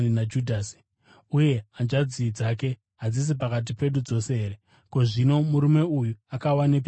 Uye hanzvadzi dzake hadzisi pakati pedu dzose here? Ko, zvino murume uyu akawanepi zvinhu zvose izvi?”